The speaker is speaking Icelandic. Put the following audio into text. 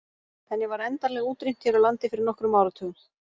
Henni var endanlega útrýmt hér á landi fyrir nokkrum áratugum.